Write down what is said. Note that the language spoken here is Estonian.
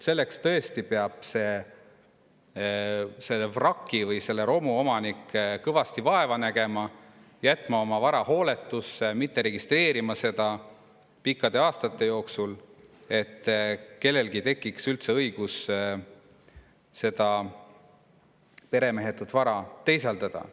Selle vraki või romu omanik peab tõesti kõvasti vaeva nägema, jätma oma vara hooletusse, mitte registreerima seda pikkade aastate jooksul, et kellelgi tekiks üldse õigus seda peremehetut vara teisaldada.